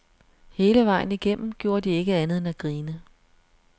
Hele vejen igennem gjorde de ikke andet end at grine.